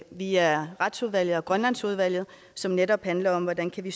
via retsudvalget og grønlandsudvalget som netop handler om hvordan vi